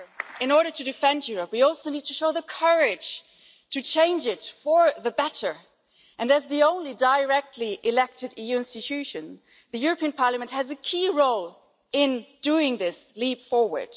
In order to defend Europe we also need to show the courage to change it for the better and, as the only directly elected EU institution, the European Parliament has a key role in making this leap forward.